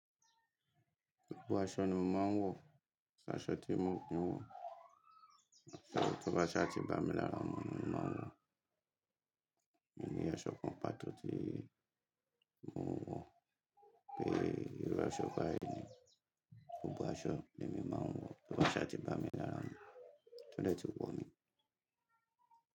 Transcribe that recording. Gbogbo aṣọ ni mo máa ń wọ̀, ṣá aṣọ tí mo ò kí ń wọ̀, tọ bá ṣá ti bá mi lára mu ni mo máa ń wọ̀. Mi ní aṣọ kan pàtó tí mo ń wọ̀ pé ìrú aṣọ báyi ni. Gbogbo aṣọ ni èmi máa ń wọ̀ tó bá ṣá ti bá mi lára ọmọ, tọ́dẹ́ẹ́tì wọ̀ mí.